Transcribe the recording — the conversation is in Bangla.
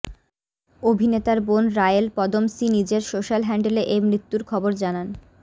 অভিনেতার বোন রায়েল পদমসি নিজের সোশ্যাল হ্যান্ডেলে এই মৃত্যুর খবর জানান